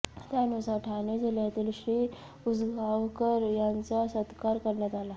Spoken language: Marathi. त्यानुसार ठाणे जिल्ह्यातील श्री उसगावकर यांचा सत्कार करण्यात आला